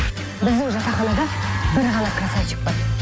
біздің жатаханада бір ғана красавчик бар